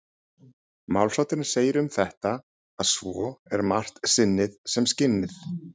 Málshátturinn segir um þetta að svo er margt sinnið sem skinnið.